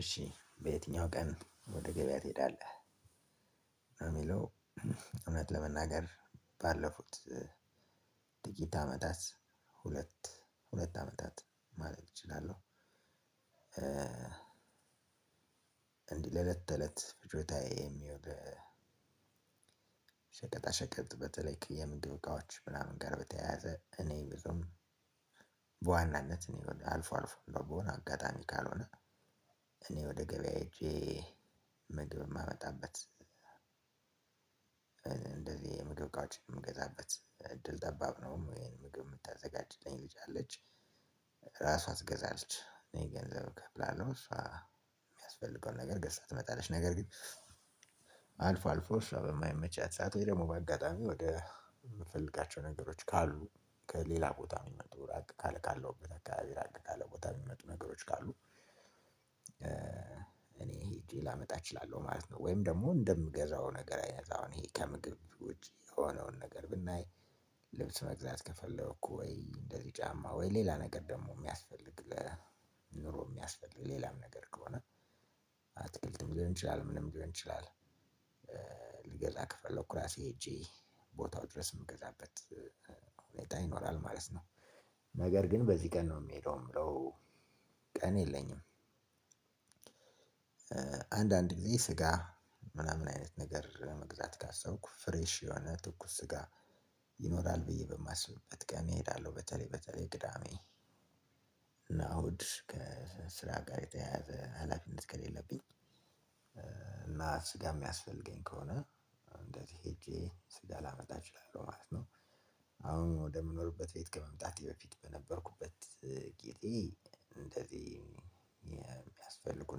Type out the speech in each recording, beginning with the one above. እሺ በየትኛው ቀን ወደ ገበያ ትሄዳለህ? ለሚለው እውነት ለመናገር ባለፉት ጥቂት አመታት ሁለት ሁለት አመታት ማለት እችላለሁ። እንዲህ ለእለት ተእለት ፍጆታዬ የሚሆን ሸቀጣ ሸቀጥ በተለይ የምንጥብቃዎች ምናምን ጋር በተያያዘ እኔ ብዙም በዋናነት እኔ አልፎ አልፎ ነው በሆነ አጋጣሚ ካልሆነ እኔ ወደ ገበያ ሄጄ ምግብ የማመጣበት። እንደዚህ ምግብ እቃዎች የምገዛበት እድል ጠባብ ነው ይሄን ምግብ የምታዘጋጅልኝ ልጅ አለች ራሷን ትገዛለች እኔ ገንዘብ እከፍላለሁ። እሷ የሚያስፈልገውን ነገር ገዝታ ትመጣለች ነገር ግን አልፎ አልፎ እሷ በማይመቻት ሰዓት ወይ ደግሞ በአጋጣሚ ወደ የምፈልጋቸው ነገሮች ካሉ ከሌላ ቦታ የሚመጡ ራቅ ካለ ካለው በተካሄደ ራቅ ካለ ቦታ የሚመጡ ነገሮች ካሉ ሄጄ ላመጣ እችላለሁ። ማለት ነው ወይም ደግሞ እንደምገዛው ነገር አይነት አሁን ይሄ ከምግብ ወጪ የሆነውን ነገር ብናይ። ልብስ መግዛት ከፈለኩ ወይ እንደዚህ ጫማ ወይ ሌላ ነገር ደግሞ የሚያስፈልግ ኑሮ የሚያስፈልግ ሌላም ነገር ከሆነ አትክልትም ሊሆን ይችላል ምንም ሊሆን ይችላል ልገዛ ከፈለኩ ራሴ ሄጄ ቦታው ድረስ የምገዛበት ሁኔታ ይኖራል ማለት ነው። ነገር ግን በዚህ ቀን ነው የሚሄደው የምለው ቀን የለኝም። አንዳንድ ጊዜ ስጋ ምናምን አይነት ነገር መግዛት ካሰብኩ ፍሬሽ የሆነ ትኩስ ስጋ ይኖራል ብዬ በማስብበት ቀን እሄዳለሁ በተለይ በተለይ ቅዳሜ እና እሁድ ከስራ ጋር የተያያዘ ሀላፊነት ከሌለብኝ እና ስጋ የሚያስፈልገኝ ከሆነ እንደዚህ ሄጄ ስጋ ላመጣ እችላለሁ ማለት ነው። አሁን ወደ ምኖርበት ቤት ከመምጣቴ በፊት በነበርኩበት ጊዜ እንደዚህ የሚያስፈልጉ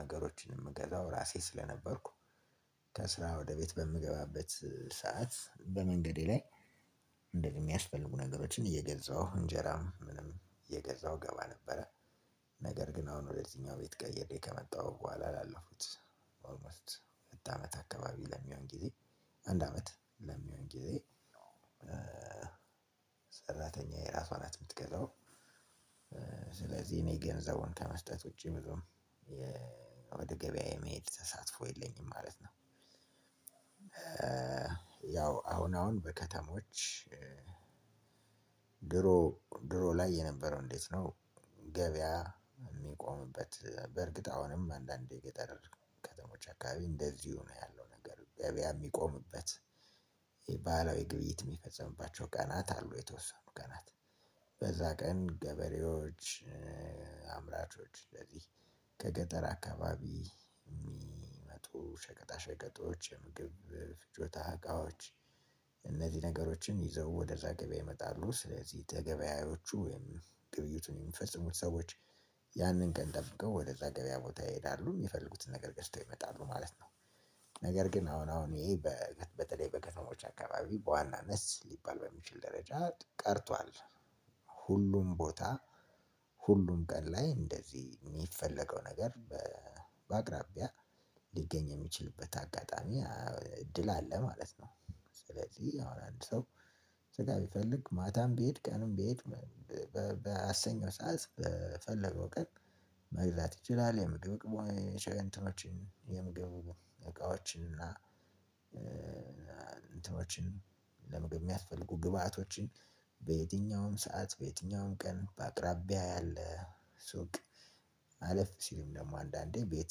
ነገሮችን የምገዛው ራሴ ስለነበርኩ ከስራ ወደ ቤት በምገባበት ሰዓት በመንገዴ ላይ እንደዚህ የሚያስፈልጉ ነገሮችን እየገዛሁ እንጀራም ምንም እየገዛሁ ገባ ነበረ። ነገር ግን አሁን ወደዚህኛው ቤት ቀየሬ ከመጣሁ በኋላ አላለፉትም ኦልሞስት ሁለት አመት አካባቢ ለሚሆን ጊዜ አንድ አመት ለሚሆን ጊዜ ሰራተኛዬ ራሷ ናት የምትገዛው ስለዚህ እኔ ገንዘቡን ከመስጠት ውጪ ብዙም ወደ ገበያ የመሄድ ተሳትፎ የለኝም ማለት ነው። ያው አሁን አሁን በከተሞች ድሮ ድሮ ላይ የነበረው እንዴት ነው? ገበያ የሚቆምበት በእርግጥ አሁንም አንዳንዴ የገጠር ከተሞች አካባቢ እንደዚሁ ነው ያለው ነገር ገበያ የሚቆምበት ባህላዊ ግብይት ሚፈጸምባቸው ቀናት አሉ የተወሰኑ ቀናት በዛ ቀን ገበሬዎች አምራቾች አንደዚህ ከገጠር አካባቢ የሚመጡ ሸቀጣ ሸቀጦች የምግብ ፍጆታ እቃዎች እነዚህን ነገሮችን ወደዛ ገበያ ይመጣሉ ስለዚህ ተገበያዮቹ ወይም ግብይቱን የሚፈጽሙ ሰዎች ያንን ቀን ጠብቀው ወደዛ ገበያ ቦታ ይሄዳሉ የሚፈልጉትን ነገር ገዝተው ይመጣሉ ማለት ነው። ነገር ግን አሁን አሁን ይሄ በ በተለይ በከተሞች አካባቢ በዋናነት ሊባል በሚችል ደረጃ ቀርቷል። ሁሉም ቦታ ሁሉም ቀን ላይ እንደዚህ የሚፈለገው ነገር በ በአቅራቢያ ሊገኝ የሚችልበት አጋጣሚ እድል አለ ማለት ነው። ስለዚህ አሁን አንድ ሰው ስጋ ቢፈልግ ማታም ቢሄድ ቀንም ቢሄድ ባሰኘው ሰዓት በፈለገው ቀን መግዛት ይችላል። የምግብ ቅ የምግብ እቃዎችን እና እንትኖችን ለምግብ የሚያስፈልጉ ግብአቶችን በየትኛውም ሰዓት በየትኛውም ቀን በአቅራቢያ ያለ ሱቅ አለፍ ሲልም ደግሞ አንዳንዴ ቤት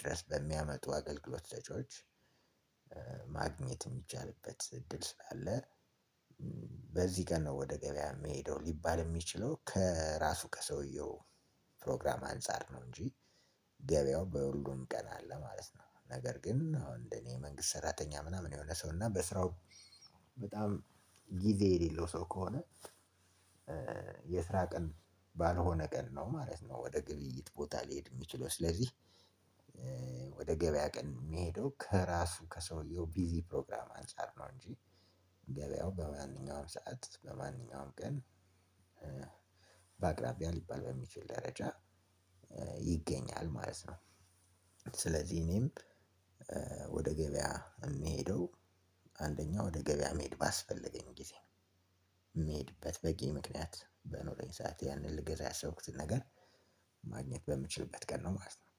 ድረስ በሚያመጡ አገልግሎት ሰጪዎች ማግኘት የሚቻልበት እድል ስላለ። በዚህ ቀን ነው ወደ ገበያ የምሄደው ሊባል የሚችለው ከራሱ ከሰውየው ፕሮግራም አንፃር ነው እንጂ ገበያው በሁሉም ቀን አለ ማለት ነው። ነገር ግን አሁን እንደኔ መንግስት ሰራተኛ ምናምን የሆነ ሰው እና በስራው በጣም ጊዜ የሌለው ሰው ከሆነ። የስራ ቀን ባልሆነ ቀን ነው ማለት ነው ወደ ግብይት ቦታ ሊሄድ የሚችለው ስለዚህ። ገበያ ቀን የሚሄደው ከራሱ ከሰውየው ቢዚ ፕሮግራም አንፃር ነው እንጂ ገበያው በማንኛውም ሰዓት በማንኛውም ቀን በአቅራቢያ ሊባል በሚችል ደረጃ ይገኛል ማለት ነው። ስለዚህ እኔም ወደ ገበያ የምሄደው አንደኛ ወደ ገበያ መሄድ ባስፈለገኝ ጊዜ ነው የምሄድበት በቂ ምክንያት በኖረኝ ሰዓት ልገዛ ያሰብኩትን ነገር ማግነት በምችልበት ቀን ነው ማለት ነው